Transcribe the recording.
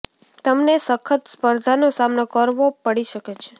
તમને સખત સ્પર્ધાનો સામનો કરવો પડી શકે છે